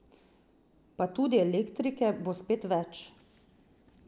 Pa tudi elektrike bo spet več.